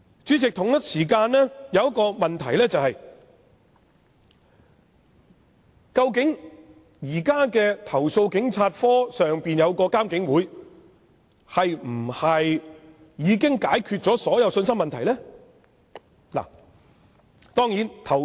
主席，我們同時面對一個問題：究竟現時設於投訴警察課之上的獨立監察警方處理投訴委員會，是否已能解決所有信心問題呢？